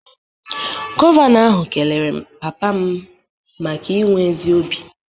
Gọvanọ ahụ kelere papa m maka inwe ezi obi